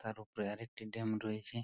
তার উপরে আরেকটি ড্যাম রয়েছে।